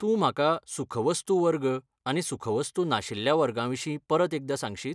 तूं म्हाका सुखवस्तू वर्ग आनी सुखवस्तू नाशिल्ल्या वर्गा विशीं परत एकदां सांगशीत?